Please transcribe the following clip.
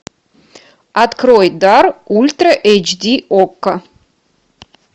открой дар ультра эйч ди окко